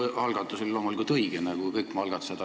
See minu algatus oli loomulikult õige nagu kõik minu algatused.